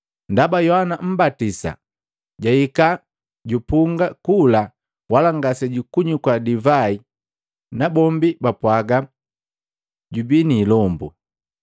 Ndaba Yohana Mmbatisa jahika, jupunga kula wala ngasejukunywika divai nabombi bapwaaga, ‘Jubii ni ilombu.’